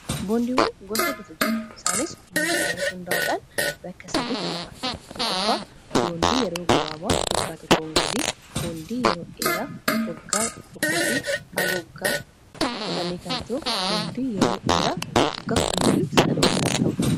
boondiiwwan gosa hiddotu jira isaanis umulisaan irratti hundaa'uudhaan bakka satti quban tkoffaa boondii yeroo gabaaba waggaa tokkoongadii boondii yeroo dheeraa waggaa 1f h gg10kto boondii eera1s kana